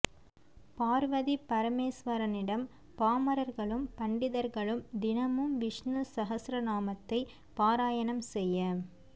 பார்வதி பரமேஸ்வரனிடம் பாமரர்களும் பண்டிதர்களும் தினமும் விஷ்ணு ஸஹஸ்ரநாமத்தை பாராயணம் செய்ய